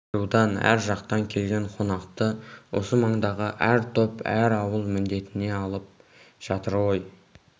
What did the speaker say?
әр рудан әр жақтан келген қонақты осы маңдағы әр топ әр ауыл міндетіне алып жатыр ғой